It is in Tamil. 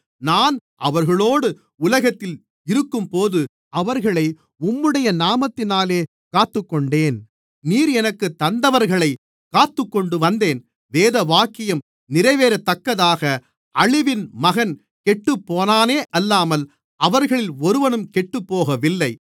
நான் அவர்களோடு உலகத்தில் இருக்கும்போது அவர்களை உம்முடைய நாமத்தினாலே காத்துக்கொண்டேன் நீர் எனக்குத் தந்தவர்களைக் காத்துக்கொண்டுவந்தேன் வேதவாக்கியம் நிறைவேறத்தக்கதாக அழிவின் மகன் கெட்டுப்போனானே அல்லாமல் அவர்களில் ஒருவனும் கெட்டுப்போகவில்லை